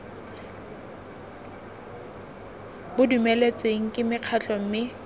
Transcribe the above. bo dumeletsweng ke mekgatlho mme